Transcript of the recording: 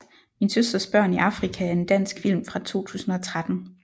Min søsters børn i Afrika er en dansk film fra 2013